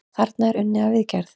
Þarna er unnið að viðgerð.